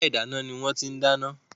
Yàrá ìdáná ni wọ́n ti ń dáná.